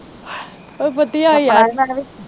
ਬਸ ਵਧਿਆ ਯਾਰ